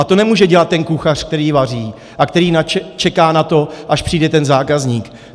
A to nemůže dělat ten kuchař, který vaří a který čeká na to, až přijde ten zákazník.